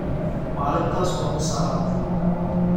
Maalintaas wuu ku salaamay.